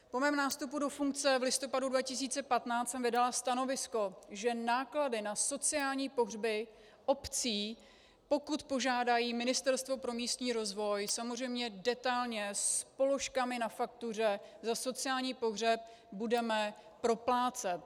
Po mém nástupu do funkce v listopadu 2015 jsem vydala stanovisko, že náklady na sociální pohřby obcí, pokud požádají Ministerstvo pro místní rozvoj, samozřejmě detailně s položkami na faktuře za sociální pohřeb, budeme proplácet.